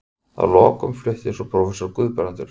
Að lokum flutti svo prófessor Guðbrandur